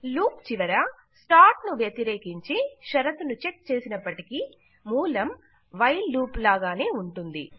loop చివర start ను వ్యతిరేకించి షరతును చెక్ చేసినప్పటికీ మూలము వైల్ లూప్ లాగానే ఉంటుంది